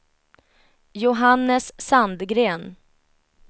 Johannes Sandgren